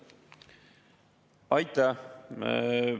Aitäh!